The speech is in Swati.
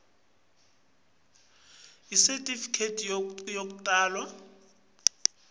ikhophi yesitifiketi sekutalwa